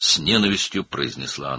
nifrətlə dedi.